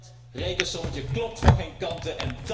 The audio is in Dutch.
Dat rekensommetje klopt van geen kanten.